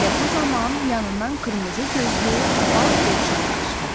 Elə bu zaman yanından qırmızı gözlü ağ dovşan qaşdı.